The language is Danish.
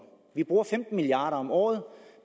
vi bruger femten milliard kroner om året